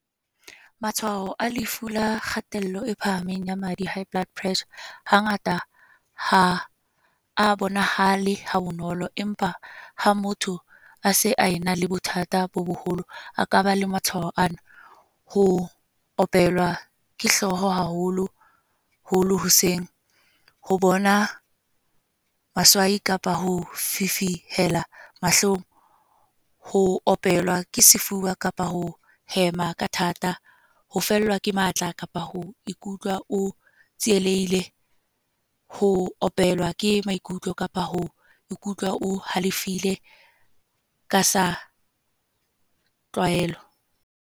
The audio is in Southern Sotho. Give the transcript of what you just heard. Matshwao a lefu la kgatello e phahameng ya madi. High blood pressure, hangata ha a bonahale ha bonolo. Empa ha motho a se a ena le bothata bo boholo. A ka ba le matshwao ana, ho opelwa ke hlooho haholo holo hoseng, ho bona baswai kapa ho fifihela mahlong. Ho opelwa ke sefuba kapa ho hema ka thata. Ho fellwa ke matla kapa ho ikutlwa o tsielehile. Ho opelwa ke maikutlo kapa ho ikutlwa o halefile, ka sa tlwaelo.